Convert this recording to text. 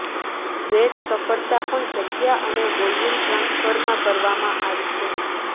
great સફળતા પણ જગ્યા અને વોલ્યુમ ટ્રાન્સફર માં કરવામાં આવી છે